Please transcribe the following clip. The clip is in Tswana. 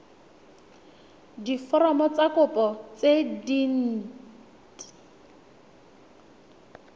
diforomo tsa kopo tse dint